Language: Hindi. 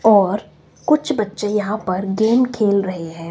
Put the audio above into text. और कुछ बच्चे यहां पर गेम खेल रहे हैं।